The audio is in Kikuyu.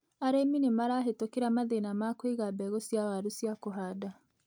Arĩmi nĩmarahetũkĩra mathina ma kũiga mbegu cia waru cia kũhanda.